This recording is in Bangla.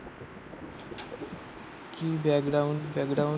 কি ব্যাকগ্রাউন্ড ব্যাকগ্রাউন্ড